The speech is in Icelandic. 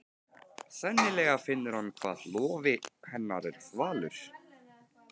Sennilega finnur hann hvað lófi hennar er þvalur.